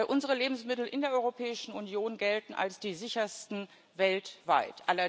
Unsere Lebensmittel in der Europäischen Union gelten als die sichersten weltweit.